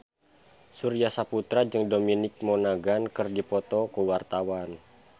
Surya Saputra jeung Dominic Monaghan keur dipoto ku wartawan